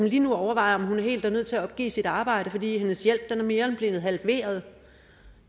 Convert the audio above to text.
lige nu overvejer om hun helt er nødt til at opgive sit arbejde fordi hendes hjælp er blevet mere end halveret